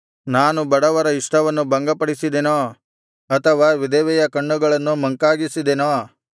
ನಾನು ಬಡವರ ಇಷ್ಟವನ್ನು ಭಂಗಪಡಿಸಿದೆನೋ ಅಥವಾ ವಿಧವೆಯ ಕಣ್ಣುಗಳನ್ನು ಮಂಕಾಗಿಸಿದೆನೋ